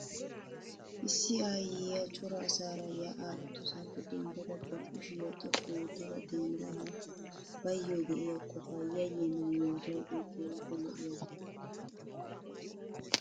Issi aayyiyaa cora asaara yaa'aa uttosaappe denddada ba kushiyaa xoqqu ootta denttaga baayo de'iyaa qofaa yayyennan yootidoogee keehippe lo'iyaaba .